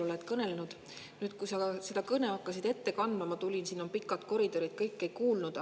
Kui sa seda kõnet hakkasid ette kandma, ma tulema, kuid siin on pikad koridorid ja ma kõike ei kuulnud.